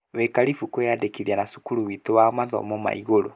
Wĩ karibũ kwĩnyandĩkithia na cukuru witũ wa mathomo ma igũrũ